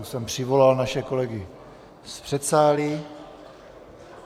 Už jsem přivolal naše kolegy z předsálí.